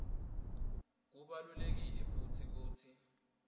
kubalulekile futsi kutsi